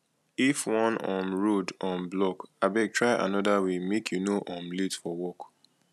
if one um road um block abeg try another way make you no um late for work